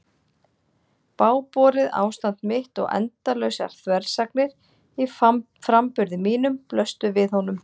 Bágborið ástand mitt og endalausar þversagnir í framburði mínum blöstu við honum.